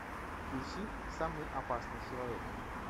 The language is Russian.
включи самый опасный человек